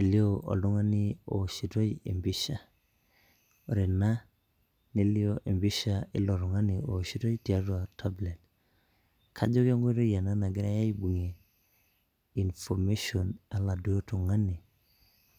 elio owoshitoi empisha ore ena nelio empisha ilo tung'ani owoshitoi tiatua tablet kajo kenkoitoi ena nagirae aibung'ie information oladuo tung'ani